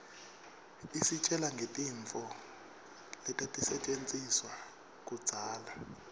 isitjela ngetintfo letatisetjentiswa kudzala